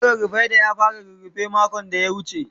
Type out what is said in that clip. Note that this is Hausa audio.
Yaron Fareedah ya fara rurrufe makon da ya wuce.